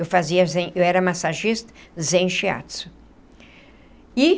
Eu fazia Zen eu era massagista Zen Shiatsu e.